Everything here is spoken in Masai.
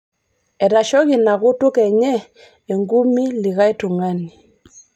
etoshoki inakutuk enye engumii likai tungani